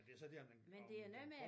Men det så der man kan komme med